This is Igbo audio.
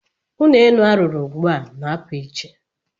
Ụlọ elu a rụrụ ugbu a na-apụ iche.